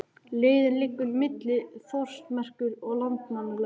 Leiðin liggur milli Þórsmerkur og Landmannalauga.